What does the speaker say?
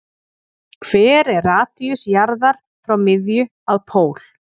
Hver er radíus jarðar frá miðju að pól?